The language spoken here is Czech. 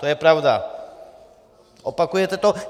To je pravda, opakujete to.